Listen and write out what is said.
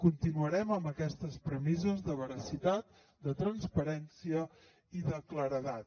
continuarem amb aquestes premisses de veracitat de transparència i de claredat